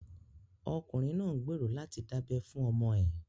Ọkùnrin náà ń gbèrò láti dábẹ́ fún ọmọ ẹ̀